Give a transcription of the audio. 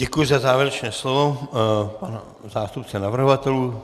Děkuju za závěrečné slovo panu zástupci navrhovatelů.